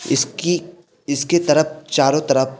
इसकी इसके तरप चारो तरप --